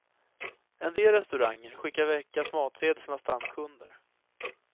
En del restauranger skickar veckans matsedel till sina stamkunder.